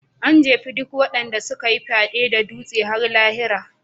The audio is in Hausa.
An jefe duk waɗanda suka yi fyaɗen da duwatsu har lahira.